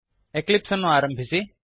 ಎಕ್ಲಿಪ್ಸನ್ನು ಪ್ರಾರಂಭಿಸಿ